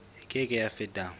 e ke ke ya feta